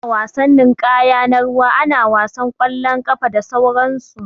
Ana wasan ninƙaya na ruwa, ana wasan ƙwalon ƙafa, da sauran su.